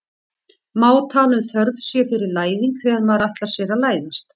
má tala um þörf sé fyrir læðing þegar maður ætlar sér að læðast